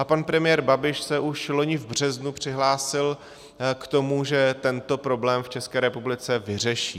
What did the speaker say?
A pan premiér Babiš se už loni v březnu přihlásil k tomu, že tento problém v České republice vyřeší.